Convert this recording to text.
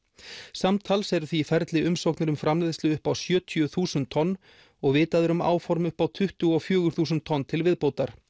samtals eru því í ferli umsóknir um framleiðslu upp á sjötíu þúsund tonn og vitað er um áform upp á tuttugu og fjögur þúsund tonn til viðbótar